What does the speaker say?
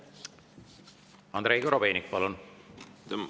Andrei Korobeinik, palun!